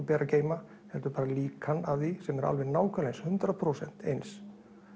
ber að geyma heldur bara líkan af því sem er alveg nákvæmlega eins hundrað prósent eins